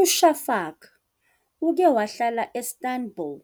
UShafak uke wahlala e-Istanbul,